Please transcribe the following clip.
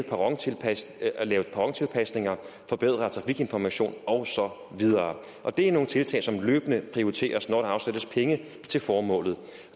perrontilpasninger perrontilpasninger forbedret trafikinformation og så videre og det er nogle tiltag som løbende prioriteres når der afsættes penge til formålet